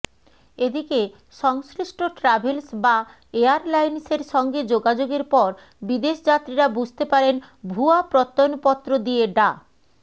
এদিকে সংশ্লিষ্ট ট্রাভেলস বা এয়ারলাইন্সের সঙ্গে যোগাযোগের পর বিদেশযাত্রীরা বুঝতে পারেন ভুয়া প্রত্যয়নপত্র দিয়ে ডা